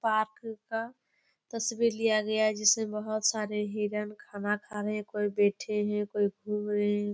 Park का तस्वीर लिया गया है जिसमे बहुत सारे हिरण खाना खा रहे हैं कोई बैठे हैं कोई घूम रहे है।